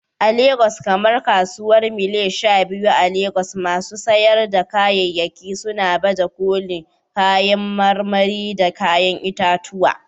A wurare kamar Kasuwar Mile 12 a Legas, masu sayar da kayayyaki suna baje kolin kayan marmari da kayan itatuwa